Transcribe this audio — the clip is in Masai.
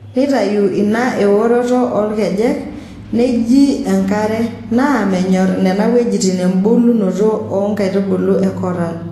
Neitayu ina eworoto oolkejek, neieji enkare, naa menyorr nena wuejitin embulunoto oonkaitubulu e koral.